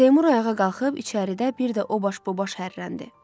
Seymur ayağa qalxıb içəridə bir də o baş bu baş hərləndi.